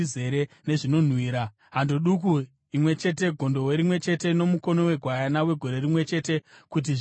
hando duku imwe chete, gondobwe rimwe chete nomukono wegwayana wegore rimwe chete, kuti zvive chipiriso chinopiswa;